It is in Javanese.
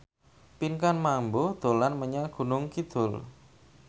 Pinkan Mambo dolan menyang Gunung Kidul